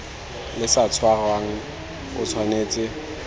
le sa tshwarang o tshwanetse